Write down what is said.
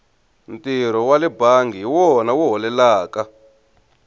ntirho wale bangi hi wona wu holelaka